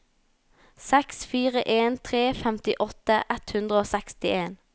seks fire en tre femtiåtte ett hundre og sekstien